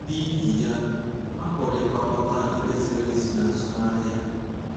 N’ihi ya, a pụrụ ịgwakọta ikpe ziri ezi na azụmahịa.